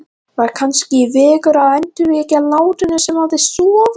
Var kannski vegur að endurvekja latínuna sem hafði sofið